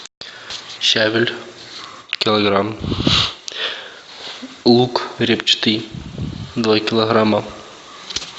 щавель килограмм лук репчатый два килограмма